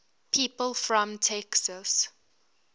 people from texas